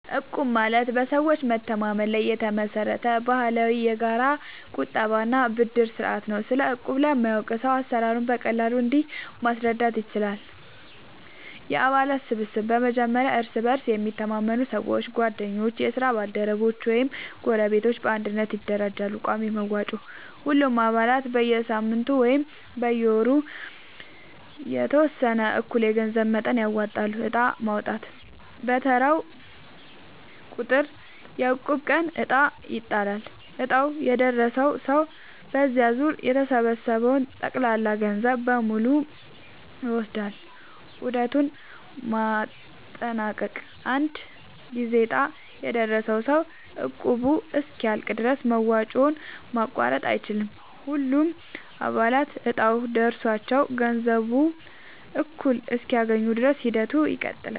እቁብ ማለት በሰዎች መተማመን ላይ የተመሰረተ ባህላዊ የጋራ ቁጠባ እና የብድር ስርዓት ነው። ስለ እቁብ ለማያውቅ ሰው አሰራሩን በቀላሉ እንዲህ ማስረዳት ይቻላል፦ የአባላት ስብስብ፦ በመጀመሪያ እርስ በእርስ የሚተማመኑ ሰዎች (ጓደኞች፣ የስራ ባልደረቦች ወይም ጎረቤቶች) በአንድነት ይደራጃሉ። ቋሚ መዋጮ፦ ሁሉም አባላት በየሳምንቱ ወይም በየወሩ የተወሰነ እኩል የገንዘብ መጠን ያወጣሉ። ዕጣ ማውጣት፦ በየተራው ቁጥር (የእቁብ ቀን) ዕጣ ይጣላል፤ ዕጣው የደረሰው ሰው በዚያ ዙር የተሰበሰበውን ጠቅላላ ገንዘብ በሙሉ ይወስዳል። ዑደቱን ማጠናቀቅ፦ አንድ ጊዜ ዕጣ የደረሰው ሰው እቁቡ እስኪያልቅ ድረስ መዋጮውን ማቋረጥ አይችልም። ሁሉም አባላት እጣው ደርሷቸው ገንዘቡን እኩል እስኪያገኙ ድረስ ሂደቱ ይቀጥላል።